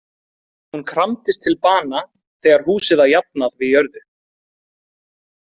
Hún kramdist til bana þegar húsið var jafnað við jörðu.